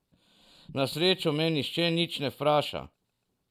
Na srečo me nihče nič ne vpraša.